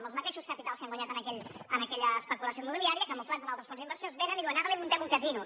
amb els mateixos capitals que han guanyat en aquella especulació immobiliària ca·muflats en altres fons d’inversió vénen i diuen ara li muntem un casino